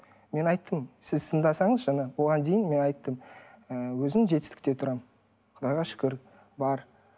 мен айттым сіз тыңдасаңыз жаңа бұған дейін мен айттым ы өзім жетістікте тұрамын құдайға шүкір бар